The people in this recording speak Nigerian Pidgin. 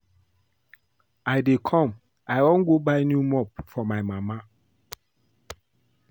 I dey come I wan go buy new mop for my mama